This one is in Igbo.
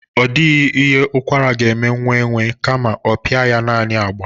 Ọ dịghị ihe ụkwara ga-eme nwaenwe kama ọ pịa ya naani agba